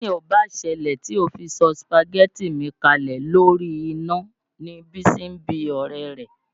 Kí ni ò báà ṣẹlẹ̀ tó fi sọ sùpàgẹ́tì mi kalẹ̀ lórí iná ni Bísí ń bí ọ̀rẹ́ rẹ̀.